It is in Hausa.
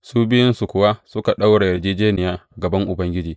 Su biyunsu kuwa suka ɗaura yarjejjeniya a gaban Ubangiji.